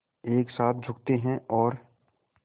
एक साथ झुकते हैं और